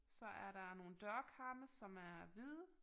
Så er der nogle dørkarme som er hvide